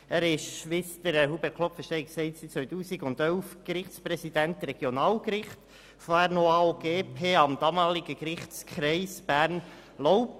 Er ist seit 2011 Gerichtspräsident am Regionalgericht und vorher ausserordentlicher Gerichtspräsident am damaligen Gerichtskreis Bern-Laupen.